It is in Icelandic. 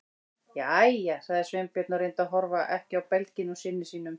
Jæja- sagði Sveinbjörn og reyndi að horfa ekki á belginn á syni sínum.